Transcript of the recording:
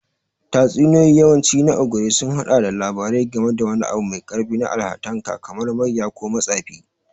Tatsuniyoyin wawanci na Ogre sun haɗa da labari game da wani abu mai ƙarfi na Allahntaka kamar mayya ko matsafi.